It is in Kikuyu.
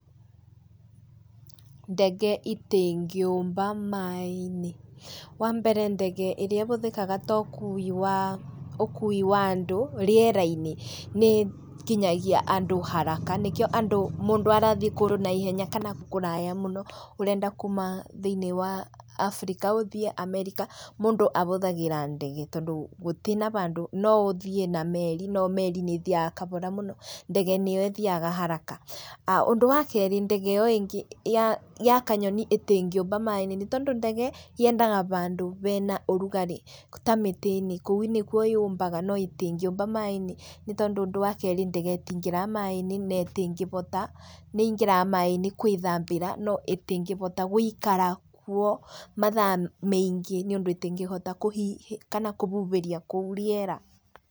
Ndege itĩngĩũmba maĩ-inĩ. Wa mbere ndege ĩrĩa ĩbũthĩkaga ta ũkui wa andũ rĩera-inĩ nĩ ĩkinyagia andũ haraka nĩkĩo andũ mũndũ arathiĩ kũndũ na ihenya kana kũraya mũno, ũrenda kuma thĩinĩ wa Africa ũthiĩ America, mũndũ abũthagĩra ndege tondũ gũtĩ na bandũ. No ũthiĩ na meri no meri nĩ ĩthiaga kabora mũno, ndege nĩyo ĩthiaga haraka. Ũndũ wa keerĩ, ndege ĩyo ĩngĩ ya kanyoni ĩtĩngĩũmba maĩ-inĩ, nĩ tondũ ndege yendaga bandũ bena ũrugarĩ. Ta mĩtĩinĩ, kũu nĩkuo yũmbaga no ndĩngĩũmba maĩ-inĩ nĩ tondũ ũndũ wa keerĩ ndege ĩtĩingĩraga maĩ-inĩ na ĩtĩbota. nĩ ĩingĩraga maaĩ-inĩ gwĩthambĩra no ĩtĩngĩbota gũikara kuo mathaa mĩingĩ nĩ ũndũ ĩtĩngĩhota kũhhihia kana kũbũbĩria kũu rĩera.